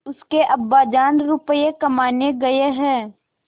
उसके अब्बाजान रुपये कमाने गए हैं